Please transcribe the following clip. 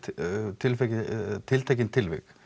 tiltekin tiltekin tilvik